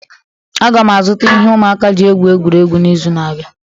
Aga m azụta ihe ụmụaka ji egwuri egwu n'izu na-abịa